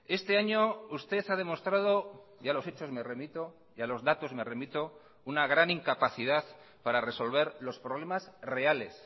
este año usted ha demostrado y a los hechos me remito y a los datos me remito una gran incapacidad para resolver los problemas reales